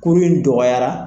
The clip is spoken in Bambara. Kurun in dɔgɔyara